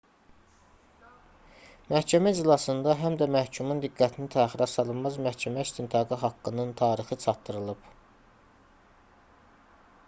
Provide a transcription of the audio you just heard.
məhkəmə iclasında həm də məhkumun diqqətini təxirəsalınmaz məhkəmə istintaqı haqqının tarixi çatdırılıb